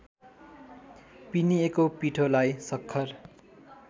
पिनिएको पिठोलाई सक्खर